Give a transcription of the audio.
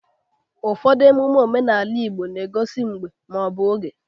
Ụfọdụ emume omenala Igbo na-egosi mgbe ma ọ bụ oge.